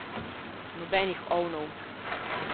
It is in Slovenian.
Nobenih ovnov.